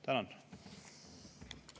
Tänan!